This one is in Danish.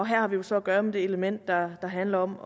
her har vi jo så at gøre med det element der handler om